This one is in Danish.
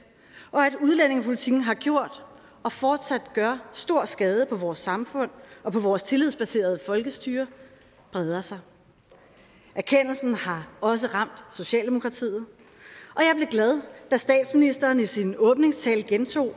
og at udlændingepolitikken har gjort og fortsat gør stor skade på vores samfund og på vores tillidsbaserede folkestyre breder sig erkendelsen har også ramt socialdemokratiet og jeg blev glad da statsministeren i sin åbningstale gentog at